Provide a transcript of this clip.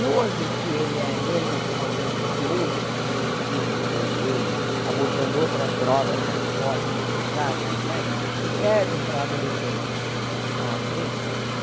E hoje, se ele é menos importante do que outros que surgiram depois dele, abordando outras drogas mais fortes, mais pesadas e tudo mais, que servem para adolescentes à frente.